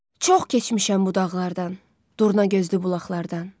Çox keçmişəm bu dağlardan, Durna gözlü bulaqlardan.